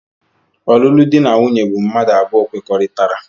Ọlụlụ di na nwunye bụ mmadụ abụọ kwekọrịtara.